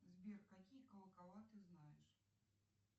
сбер какие колокола ты знаешь